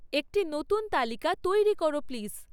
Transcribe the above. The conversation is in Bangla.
একটি নতুন তালিকা তৈরি করো প্লিজ